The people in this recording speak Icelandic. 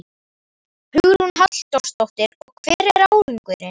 Hugrún Halldórsdóttir: Og hver er árangurinn?